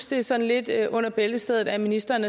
det er sådan lidt under bæltestedet når ministeren